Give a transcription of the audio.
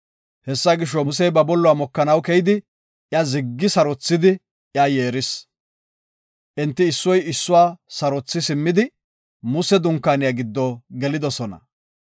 Hessa gisho, Musey ba bolluwa mokanaw keyidi, iya ziggi sarothidi iya yeeris. Enti issoy issuwa sarothi simmidi Muse dunkaaniya giddo gelidosona.